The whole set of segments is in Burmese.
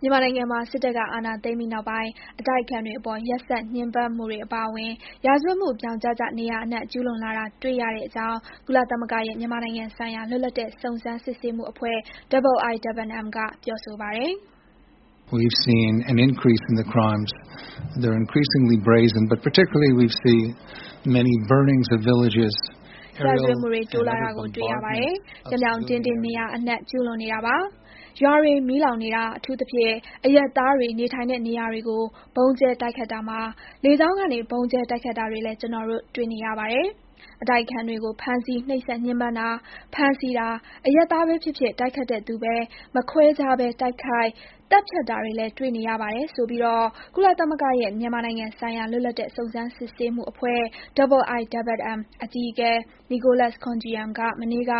မြန်မာနိုင်ငံမှာ စစ်တပ်က အာဏာသိမ်းပြီးနောက်ပိုင်း အတိုက်အခံတွေအပေါ် ရက်စက်ညှဉ်းပန်းမှုတွေအပါအဝင် ရာဇဝတ်မှုတွေ ဗြောင်ကျကျ နေရာအနှံ့ ကျုးလွန်လာတာ တွေ့ရတဲ့အကြောင်း ကုလသမဂ္ဂရဲ့ မြန်မာနိုင်ငံဆိုင်ရာ လွတ်လပ်တဲ့ စုံစမ်းစစ်ဆေးမှုအဖွဲ့ IIMM က ပြောဆိုပါတယ်။ ရာဇဝတ်မှုတွေ တိုးလာတာကို တွေ့ရပါတယ်။ ပြောင်ပြောင်တင်းတင်း နေရာအနှံ့ ကျုးလွန်နေတာပါ။ ရွာတွေ မီးလောင်နေတာ၊ အထူးသဖြင့် အရပ်သားတွေ နေထိုင်တဲ့ နေရာတွေကို ဗုံးကျဲ တိုက်ခိုက်တာမှာ လေကြောင်းကနေ ဗုံးကျဲ တိုက်ခိုက်တာတွေလည်း ကျနော်တို့ တွေ့နေရပါတယ်။ အတိုက်အခံတွေကို ဖမ်းဆီး နှိပ်စက်ညှဉ်းပန်းတာ၊ ဖမ်းဆီးတာ။ အရပ်သားပဲဖြစ်ဖြစ် တိုက်ခိုက်တဲ့သူပဲ မခွဲခြားပဲ တိုက်ခိုက် သတ်ဖြတ်တာတွေလည်း တွေ့နေရပါတယ်ဆိုပြီး ကုလသမဂ္ဂရဲ့ မြန်မာနိုင်ငံဆိုင်ရာ လွတ်လပ်တဲ့ စုံစမ်းစစ်ဆေးမှုအဖွဲ့ IIMM အကြီးအကဲ Nicholas Koumjian က မနေ့က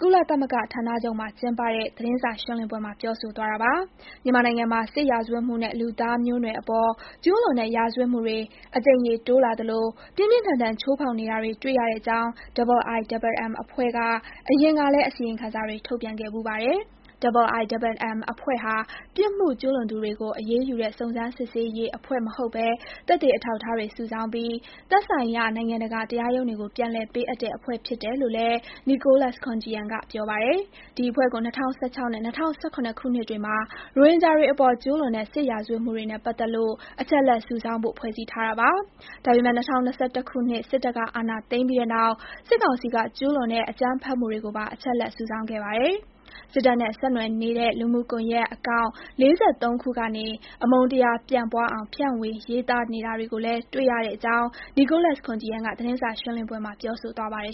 ကုလသမဂ္ဂဌာနချုပ်မှာ ကျင်းပတဲ့ သတင်းစာရှင်းလင်းပွဲမှာ ပြောဆိုသွားတာပါ။ မြန်မာနိုင်ငံမှာ စစ်ရာဇဝတ်မှုနဲ့ လူသားမျိုးနွယ်အပေါ်ကျူးလွန်တဲ့ရာဇဝတ်မှုတွေ အကြိမ်ရေတိုးလာသလို ပြင်းပြင်းထန်ထန် ချိုးဖေါက်နေတာတွေ တွေ့ရတဲ့အကြောင်း IIMM အဖွဲ့က အရင်ကလည်း အစီရင်ခံစာတွေ ထုတ်ပြန်ခဲ့ဖူးပါတယ်။ IIMM အဖွဲ့ဟာ ပြစ်မှုကျုးလွန်သူတွေကို အရေးယူတဲ့ စုံစမ်းစစ်ဆေးရေး အဖွဲ့မဟုတ်ဘဲ သက်သေ အထောက်အထားတွေ စုဆောင်းပြီး သက်ဆိုင်ရာ နိုင်ငံတကာ တရားရုံးတွေကို ပြန်လည်ပေးအပ်တဲ့ အဖွဲ့ဖြစ်တယ်လို့လည်း Nicholas Koumjian က ပြောပါတယ်။ ဒီအဖွဲ့ကို ၂၀၁၆ နဲ့ ၂၀၁၇ ခုနှစ်တွေမှာ ရိုဟင်ဂျာတွေအပေါ် ကျူးလွန်တဲ့ စစ်ရာဇတ်ဝတ်မှုတွေနဲ့ပတ်သက်လို့ အချက်အလက်စုဆောင်းဖို့ ဖွဲ့စည်းခဲ့တာပါ။ ဒါပေမယ့် ၂၀၂၁ ခုနှစ် စစ်တပ်က အာဏာသိမ်းပြီးတဲ့နောက် စစ်ကောင်စီက ကျူးလွန်တဲ့ အကြမ်းဖက်မှုတွေကိုပါ အချက်အလက်စုဆောင်းခဲ့ပါတယ်။ စစ်တပ်နဲ့ ဆက်နွယ်နေတဲ့ လူမှုကွန်ယက် Account ၄၃ ခုကနေ အမုန်းတရား ပျံ့ပွားအောင် ဖြန့်ဝေရေးသားနေတာတွေကိုလည်း တွေ့ရတဲ့အကြောင်း Nicholas Koumjian က သတင်းစာရှင်းလင်းပွဲမှာ ပြောဆိုသွားပါတယ်